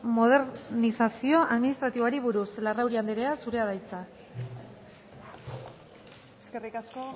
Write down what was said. modernizazio administratiboari buruz larrauri anderea zurea da hitza eskerrik asko